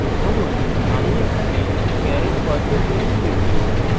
ধরুন এখানে আমি char এর বদলে int লিখব